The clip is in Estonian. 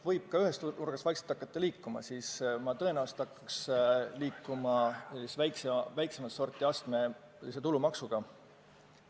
Kui ühest nurgast vaikselt liikuma hakata, siis ma tõenäoliselt hakkaks liikuma ühe väiksemat sorti astmelise tulumaksuga.